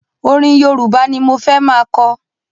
Ọrin Yorùbá ni mo fẹ́ ma kọ.